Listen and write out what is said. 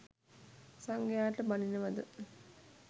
සංඝයාට බනිනවද?